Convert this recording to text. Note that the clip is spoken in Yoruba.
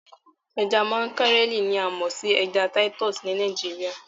Ẹja makarẹli ni a mọ sí ẹja titúsí ní Nàìjíríà.